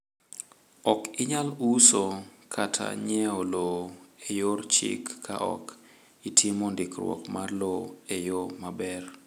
Ok inyal uso kata nyiewo lowo e yor chik ka ok itimo ndikruok mar lowo e yo maber.